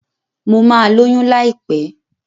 Mo ma lóyún láìpẹ́